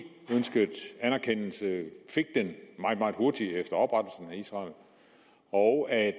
ønskede anerkendelse fik den meget meget hurtigt af israel og at